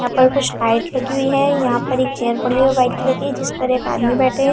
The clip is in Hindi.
यहाँ पर कुछ लगी हुई है यहाँ पर एक चेयर पड़ी हुई है वाइट कलर की जिस पर एक आदमी बैठे है।